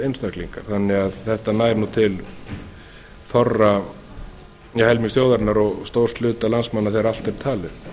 einstaklingar þannig að þetta nær til helmings þjóðarinnar og stórs hluta landsmanna þegar allt er talið